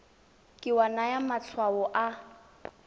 ke wa naya matshwao a